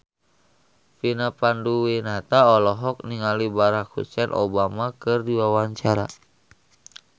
Vina Panduwinata olohok ningali Barack Hussein Obama keur diwawancara